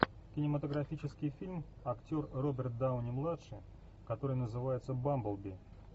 кинематографический фильм актер роберт дауни младший который называется бамблби